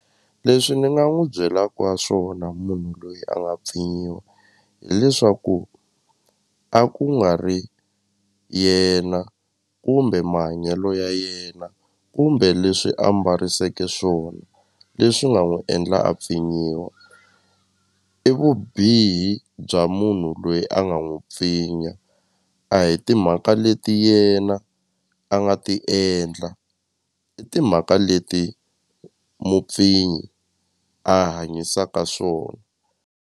Leswi ni nga n'wi byelaka swona munhu loyi a nga pfinyiwa hileswaku a ku nga ri yena kumbe mahanyelo ya yena kumbe leswi a mbariseteke swona leswi nga n'wi endla a pfinyiwa i vubihi bya munhu loyi a nga n'wu pfinya a hi timhaka leti yena a nga ti endla i timhaka leti mupfinyi a hanyisaka swona.